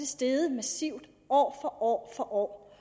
steget massivt år for år